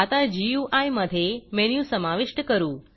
आता गुई मधे मेनू समाविष्ट करू